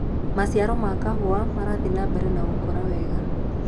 maciaro ma kahũa marathie nambere na gukura wega